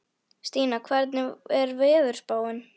Stína, hvernig er veðurspáin?